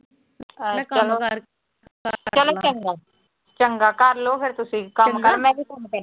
ਚਲੋ ਚੰਗਾ। ਚੰਗਾ ਕਰਲੋ ਫਿਰ ਤੁੁਸੀਂ ਵੀ ਕੰਮਕਾਰ, ਮੈਂ ਵੀ